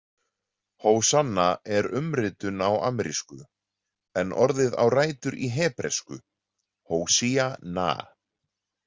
Hósanna er umritun á arameísku en orðið á rætur í hebresku hósíah-na.